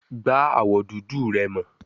Gba awọ dudu rẹ mọ